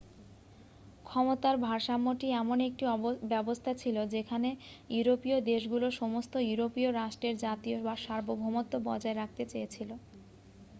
ক্ষমতার ভারসাম্যটি এমন একটি ব্যবস্থা ছিল যেখানে ইউরোপীয় দেশগুলো সমস্ত ইউরোপীয় রাষ্ট্রের জাতীয় সার্বভৌমত্ব বজায় রাখতে চেয়েছিল